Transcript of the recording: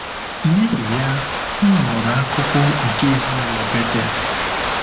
N’ihi ya, m ghọrọ akụkụ nke ezinụlọ Betel.